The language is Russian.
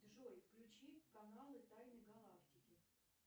джой включи каналы тайны галактики